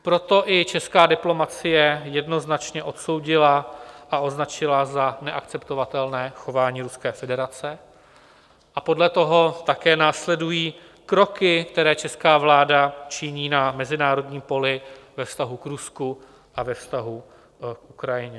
Proto i česká diplomacie jednoznačně odsoudila a označila za neakceptovatelné chování Ruské federace a podle toho také následují kroky, které česká vláda činí na mezinárodním poli ve vztahu k Rusku a ve vztahu k Ukrajině.